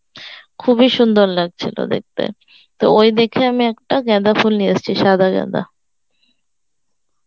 খুবই সুন্দর লাগছিল দেখতে তো ওই দেখে আমি একটা গাঁদা ফুল নিয়ে এসেছি সাদা গাঁদা